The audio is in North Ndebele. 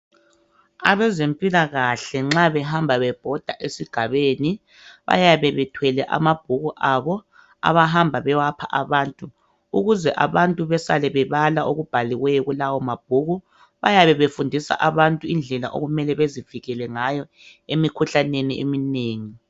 Abezempilakahle nxa behamba bebhoda esigabeni bayabe bethwele amabhuku abo abahamba bewapha abantu ukuze besale bebala okubhaliweyo kulawo mabhuku. Bayabe befundisa abantu indlela okumele bezivikele ngayo emikhuhlaneni eminengi.